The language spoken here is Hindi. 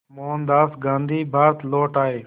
मोहनदास गांधी भारत लौट आए